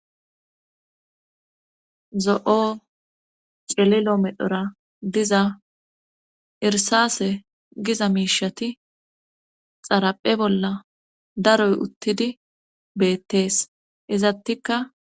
zo7o cililo medhora diza irsase giza miishati xaraphe bolla daroy uttidi beettees izattikka